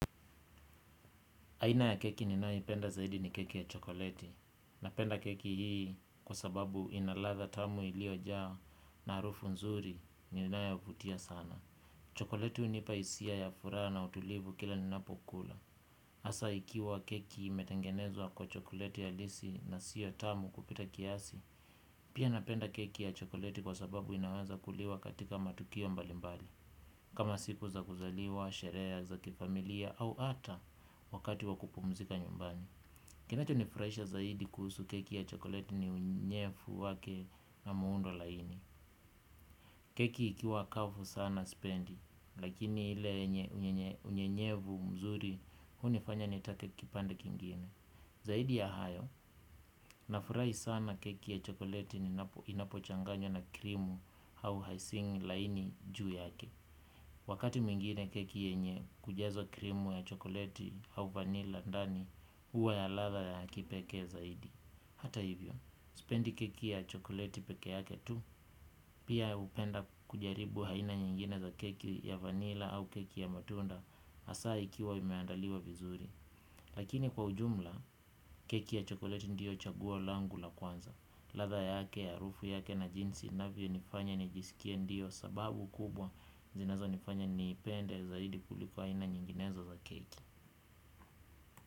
Aina ya keki ninayoipenda zaidi ni keki ya chokoleti. Napenda keki hii kwa sababu inalatha tamu iliojaa na harufu nzuri ninayovutia sana. Chokoleti hunipa hisia ya furaha na utulivu kila ninapokula. Hasa ikiwa keki imetengenezwa kwa chokoleti halisi na sio tamu kupita kiasi, pia napenda keki ya chokoleti kwa sababu inaweza kuliwa katika matukio mbalimbali. Kama siku za kuzaliwa, sherehe za kifamilia, au hata wakati wa kupumzika nyumbani. Kinacho nifurahisha zaidi kuhusu keki ya chokoleti ni unyevu wake na muundo laini. Keki ikiwa kavu sana sipendi, lakini ile yenye unyevu mzuri hunifanya nitake kipande kingine. Zaidi ya hayo, nafurahi sana keki ya chokoleti ninapo inapo changanywa na krimu au icing laini juu yake. Wakati mwingine keki yenye kujazwa krimu ya chokoleti au vanila ndani huwa ya latha ya kipekee zaidi. Hata hivyo, spendi keki ya chokoleti pekeyake tu. Pia hupenda kujaribu haina nyingine za keki ya vanila au keki ya matunda hasaa ikiwa imeandaliwa vizuri. Lakini kwa ujumla, keki ya chokoleti ndio chaguo langu la kwanza. Latha yake harufu yake na jinsi inavyo nifanya nijisikie ndio sababu kubwa zinazo nifanya niipende zaidi kuliko aina nyinginezo za keki.